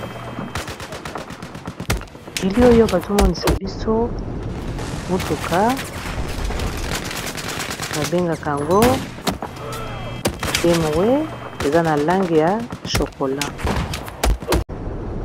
Bilili oyo bazomonisa biso motuka babengaka yango bemowe eza na lange ya chokola.